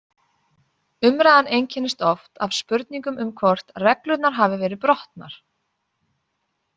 Umræðan einkennist oft af spurningum um hvort reglurnar hafi verið brotnar.